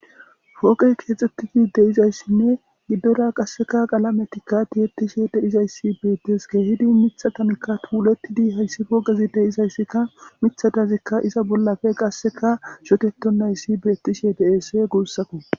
fooqey keexxettigi de'izayssinne giddora qasseka qalametikka tiyettishe de'izayssi beettes keehidi mithatanikka tuulettidi hayssi fooqezi de'izayssikka mithadazikka iza bollafe qasseka shotettonnayssi beettishe deese guussako.